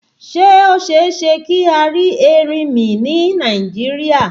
Ṣé ó ṣeéṣe kí a rí erinmi ni Nàìjíríà?